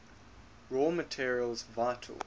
raw materials vital